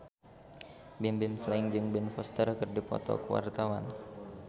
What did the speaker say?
Bimbim Slank jeung Ben Foster keur dipoto ku wartawan